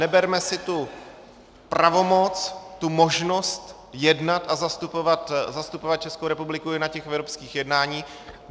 Neberme si tu pravomoc, tu možnost jednat a zastupovat Českou republiku i na těch evropských jednáních.